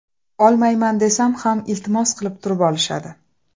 Olmayman desam ham iltimos qilib turib olishadi.